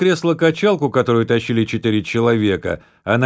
кресло-качалку которую тащили четыре человека а на